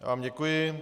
Já vám děkuji.